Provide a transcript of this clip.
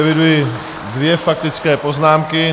Eviduji dvě faktické poznámky.